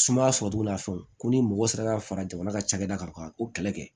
Sumaya sɔrɔcogo la fɛnw ko ni mɔgɔ sera ka fara jamana ka cakɛda kan ka o kɛlɛ kɛ